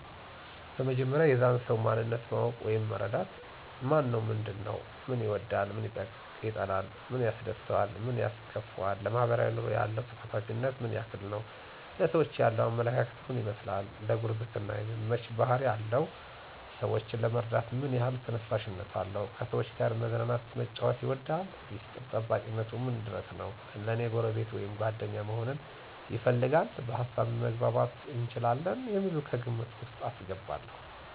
በመጀመሪያ የዛን ሰዉ ማንነት ማወቅ ወይም መረዳት። ማነው ምንድን ነዉ፦ ምን ይወዳል ምን ይጠላል፣ ምን ያስደስተዋል ምን ያስከፈዋል፣ ለማሕበራዊ ኑሮ ያለው ተሳታፊነት ምን ያክል ነዉ፣ ለሰዎች ያለዉ አመለካከት ምን ይመስላል፣ ለጉርብትና የሚመች ባሕሪ አለው ?ሰወችን ለመርዳት ምን ያሕል ተነሳሽነት አለው፣ ከሰዎች ጋር መዝናናት መጫወት ይወዳል፣ ሚስጥር ጠባቂነቱ ምን ድረስ ነዉ፣ ለኔ ጎረቤት ወይም ጓደኛ መሆንን ይፈልጋል፣ በሀሳብ መግባባት እንችላለን የሚሉትን ከግምት ዉስጥ አስገባለዉ።